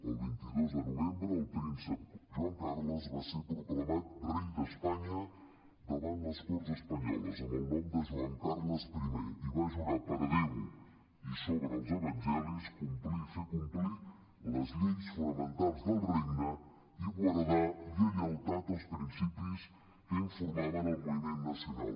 el vint dos de novembre el príncep joan carles va ser proclamat rei d’espanya davant les corts espanyoles amb el nom de joan carles i i va jurar per déu i sobre els evangelis complir i fer complir les lleis fonamentals del regne i guardar lleialtat als principis que informaven el moviment nacional